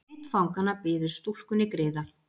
Einn fanganna biður stúlkunni griða.